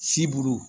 Siburu